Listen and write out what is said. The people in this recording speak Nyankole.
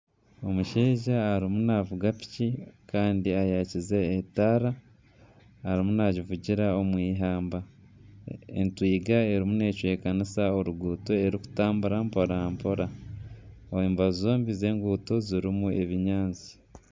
Omushaija arimu naavuga piki kandi ayakize etaara arimu naagivugira omu eihamba. Entwiga erimu necwekanisa oruguuto erikutambura mpora mpora. Aha mbaju zombi z'enguuto zirimu ebinyaatsi.